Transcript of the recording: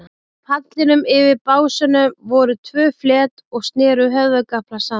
Á pallinum, yfir básunum, voru tvö flet og sneru höfðagaflar saman.